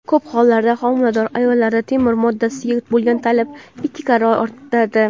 Ko‘p hollarda homilador ayollarda temir moddasiga bo‘lgan talab ikki karra ortadi.